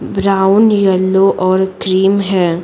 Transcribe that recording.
Brown yellow और cream है।